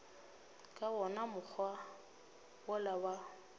ka wona mokgwa wola wa